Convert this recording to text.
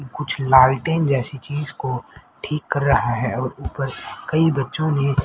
कुछ लालटेन जैसी चीज को ठीक कर रहा है और ऊपर कई बच्चों ने--